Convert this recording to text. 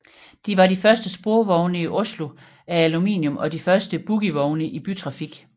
De var de første sporvogne i Oslo af aluminium og de første bogievogne i bytrafik